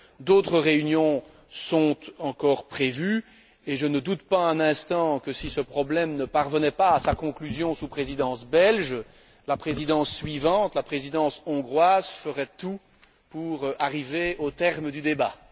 d'autres réunions sont encore prévues, et je ne doute pas un instant que, si ce problème ne parvenait pas à sa conclusion sous la Présidence belge, la Présidence suivante, la Présidence hongroise, ferait tout pour arriver au terme du débat.